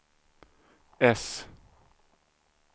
S